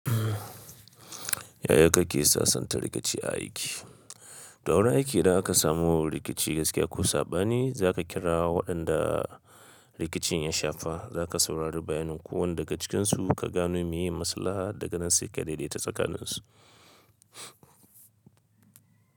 Yaya kake sassanta rikici a aiki? To a wurin aiki idan aka samu rikici gaskiya ko saɓani, za ka kira waɗanda rikicin ya shafa, za ka saurari bayanin kowanne daga cikinsu ka gano me ye masalaha da ganan sai ka daidai ta tsakaninsu.